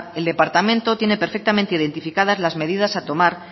el departamento tiene perfectamente identificadas las medidas a tomar